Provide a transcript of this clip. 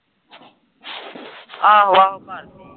ਆਹੋ ਆਹੋ ਕਰਦੀ ਹੈ